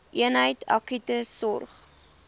eenheid akute sorg